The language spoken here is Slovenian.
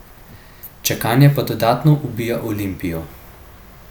Čakanje pa dodatno ubija Olimpijo.